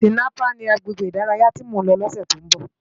Tinàpá ni àgbégbé idàráyá ti mó n lò lòsè tó n bò